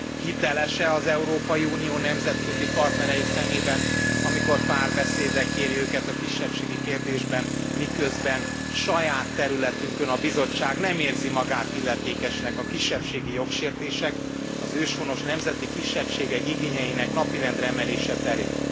Hiteles e az Európai Unió nemzetközi partnerei szemében, amikor párbeszédre kéri őket a kisebbségi kérdésben, miközben saját területünkön a Bizottság nem érzi magát illetékesnek a kisebbségi jogsértések, az őshonos nemzeti kisebbségek igényeinek napirendre emelése terén?